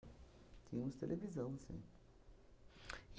Tínhamos televisão, sim.